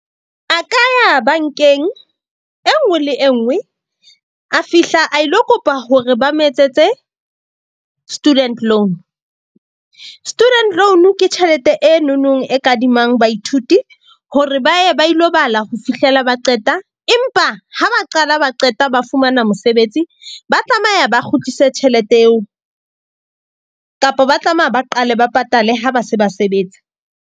A ka ya bank-eng e nngwe le e nngwe. A fihla a ilo kopa hore ba mo etsetse student loan. Student loan ke tjhelete e nonong e kadimang baithuti hore ba ye ba ilo bala ho fihlela ba qeta. Empa ha ba qala ba qeta ba fumana mosebetsi, ba tlameha ba kgutlise tjhelete eo, kapa ba tlameha ba qale ba patale ha ba se ba sebetsa.